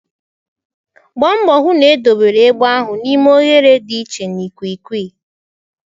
Gbaa mbọ hụ na edobere egbe ahụ n'ime oghere dị iche na ikwiikwii.